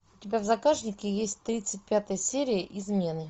у тебя в загашнике есть тридцать пятая серия измены